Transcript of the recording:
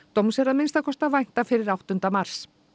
dóms er að minnsta kosti að vænta fyrir áttunda mars